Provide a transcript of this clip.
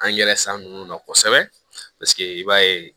An yɛrɛ san nunnu na kosɛbɛ i b'a ye